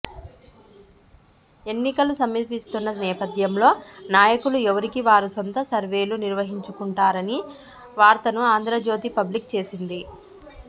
ఎన్నికల సమీపిస్తున్న నేపథ్యంలో నాయకులు ఎవరికి వారు సొంత సర్వేలు నిర్వహించుకుంటున్నారని వార్తను ఆంధ్రజ్యోతి పబ్లిష్ చేసింది